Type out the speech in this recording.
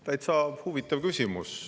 Täitsa huvitav küsimus.